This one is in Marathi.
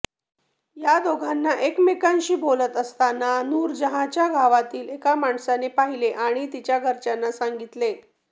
या दोघांना एकमेकाशी बोलत असतांना नूरजहांच्या गावातील एका माणसाने पाहिले आणि तिच्या घरच्यांना सांगितले